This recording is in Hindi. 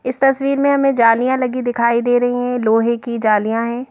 इस तस्वीर में हमें जालियां लगी दिखाई दे रही हैं लोहे की जालियां हैं।